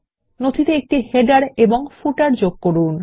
নথিতে একটি শিরোলেখ এবং পাদলেখ যুক্ত করুন